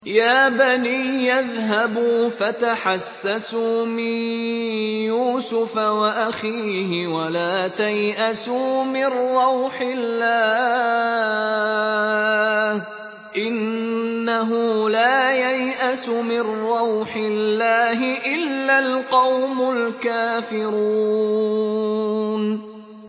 يَا بَنِيَّ اذْهَبُوا فَتَحَسَّسُوا مِن يُوسُفَ وَأَخِيهِ وَلَا تَيْأَسُوا مِن رَّوْحِ اللَّهِ ۖ إِنَّهُ لَا يَيْأَسُ مِن رَّوْحِ اللَّهِ إِلَّا الْقَوْمُ الْكَافِرُونَ